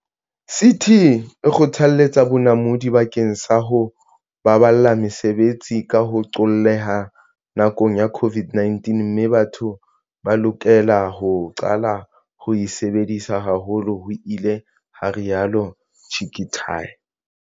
CT e kgothaletsa bonamodi bakeng sa ho baballa mesebetsi, ka ho qolleha nakong ya COVID-19, mme batho ba lokela ho qala ho e sebedisa haholo, ho ile ha rialo Chicktay.